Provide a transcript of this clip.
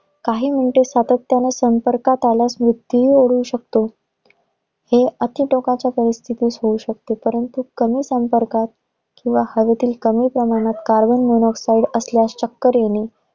काही minute सातत्याने संपर्कात आल्यास मृत्यूही ओढवू शकतो. हे आजच्या टोकाच्या परिस्थितीत होऊ शकतं परंतु कमी संपर्कात किवा हवेतील कमी प्रमाणात carbon monoxide असल्यास चक्कर येणे.